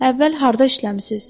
Əvvəl harda işləmisiniz?